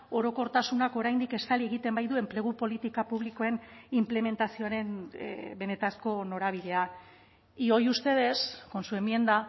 orokortasunak oraindik estali egiten baitu enplegu politika publikoen inplementazioaren benetako norabidea y hoy ustedes con su enmienda